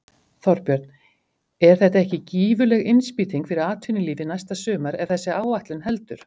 Þorbjörn: Er þetta ekki gífurleg innspýting fyrir atvinnulífið næsta sumar ef þessi áætlun heldur?